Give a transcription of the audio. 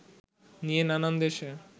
নিয়ে নানান দেশে